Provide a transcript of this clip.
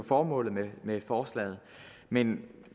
formålet med med forslaget men